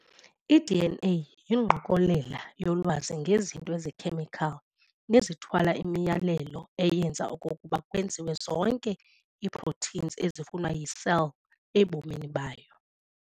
I-DNA yingqokolela yolwazi ngezinto ezikhemical nezithwala imiyalelo eyenza okokuba kwenziwe zonke ii-proteins ezifunwa yi-cell ebomini bayo.